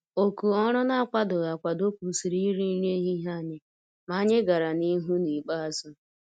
Òkù ọrụ n'akwadoghị akwado kwụsịrị iri nri ehihie anyị, ma anyị gàrà n' ihu n' ikpeazụ.